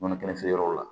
Nɔnɔ kɛnɛ feere yɔrɔ la